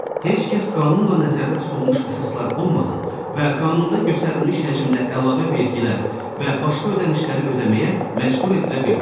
Heç kəs qanunla nəzərdə tutulmuş əsaslar olmadan və qanunda göstərilmiş həcmdə əlavə vergi və başqa ödənişləri ödəməyə məcbur edilə bilməz.